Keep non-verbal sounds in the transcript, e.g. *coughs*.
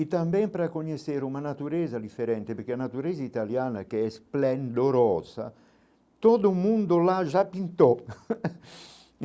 E também para conhecer uma natureza diferente, porque a natureza italiana, que é esplendorosa, todo mundo lá já pintou. *coughs*